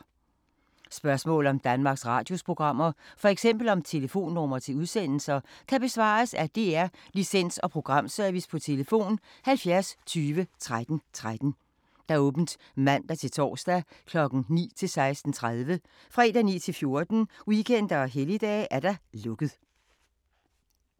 Spørgsmål om Danmarks Radios programmer, f.eks. om telefonnumre til udsendelser, kan besvares af DR Licens- og Programservice: tlf. 70 20 13 13, åbent mandag-torsdag 9.00-16.30, fredag 9.00-14.00, weekender og helligdage: lukket.